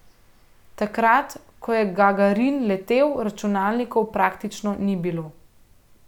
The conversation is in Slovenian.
Takrat, ko je Gagarin letel, računalnikov praktično ni bilo.